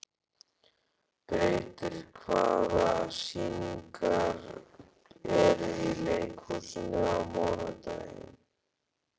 Beitir, hvaða sýningar eru í leikhúsinu á mánudaginn?